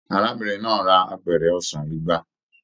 Arábìnrin náà rà apẹrẹ ọsán igba.